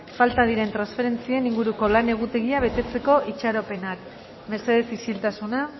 falta diren transferentzien inguruko lan egutegia betetzeko itxaropenak mesedez isiltasuna